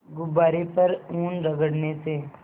गुब्बारे पर ऊन रगड़ने से